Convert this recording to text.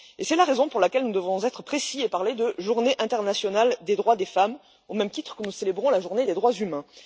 C'est la raison pour laquelle nous devons être précis et parler de Journée internationale des droits des femmes, au même titre que nous célébrons la Journée des droits humains.